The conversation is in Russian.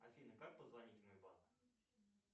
афина как позвонить в мой банк